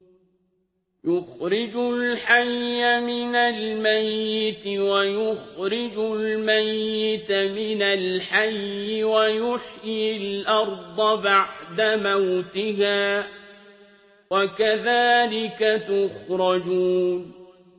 يُخْرِجُ الْحَيَّ مِنَ الْمَيِّتِ وَيُخْرِجُ الْمَيِّتَ مِنَ الْحَيِّ وَيُحْيِي الْأَرْضَ بَعْدَ مَوْتِهَا ۚ وَكَذَٰلِكَ تُخْرَجُونَ